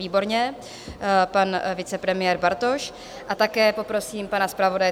Výborně, pan vicepremiér Bartoš, a také poprosím pana zpravodaje.